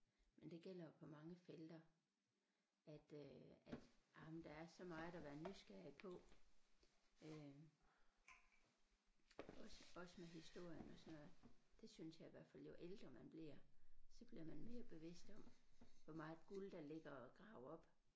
Men det gælder jo på mange felter at øh at jamen der er så meget at være nysgerrig på øh også også med historien og sådan noget det synes jeg i hvert fald jo ældre man bliver så bliver man mere bevidst om hvor meget guld der ligger at grave op